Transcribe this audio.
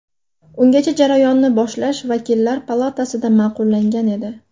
Ungacha jarayonni boshlash vakillar palatasida ma’qullangan edi.